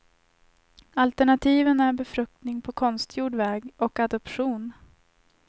Alternativen är befruktning på konstgjord väg och adoption.